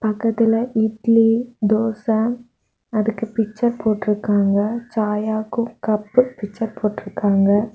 அதுல இட்லி தோச அதுக்கு பிக்சர் போட்ருக்காங்க ச்சாயாக்கும் கப்பு பிக்சர் போட்ருக்காங்க.